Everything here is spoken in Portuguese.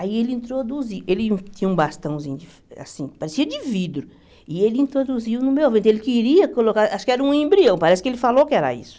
Aí ele introduziu, ele tinha um bastãozinho de assim, parecia de vidro, e ele introduziu no meu ventre, ele queria colocar, acho que era um embrião, parece que ele falou que era isso.